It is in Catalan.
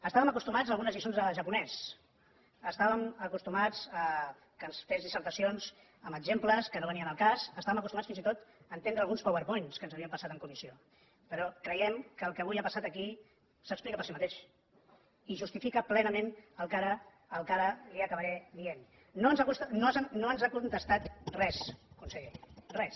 estàvem acostumats a algunes lliçons de japonès estàvem acostumats que ens fes dissertacions amb exemples que no venien al cas estàvem acostumats fins i tot a entendre alguns powerpoints que ens havia passat en comissió però creiem que el que avui ha passat aquí s’explica per si mateix i justifica plenament el que ara li acabaré dient no ens ha contestat res conseller res